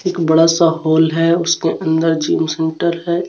एक बड़ासा हॉल है उसके अंदर जिम सेंटर है.